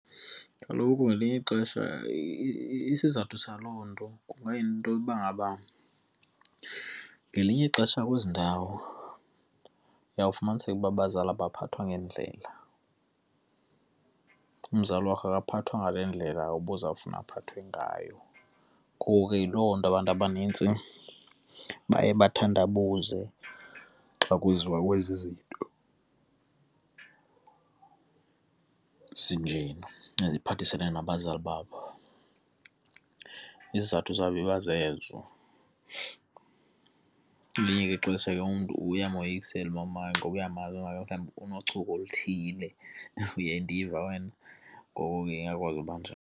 Kaloku ngelinye ixesha isizathu saloo nto kungayinto uba ngaba ngelinye ixesha kwezi ndawo uyawufumaniseka uba abazali abaphathwa ngendlela. Umzali wakho akaphathwa ngale ndlela ubuzofuna aphathwe ngayo ngoku ke yiloo nto abantu abanintsi baye bathandabuze xa kuziwa kwezi zinto esinjena, eziphathisene nabazali babo. Isizathu zabo iba zezo. Elinye ixesha ke umntu uyamoyikisile umamakhe ngoba uyamazi okanye mhlawumbi unochuku oluthile. Uyandiva wena? Ngoko akwazi uba .